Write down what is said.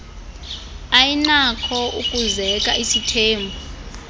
ayinakho ukuzeka isithembu